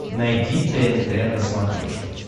найди тнт на смотрешке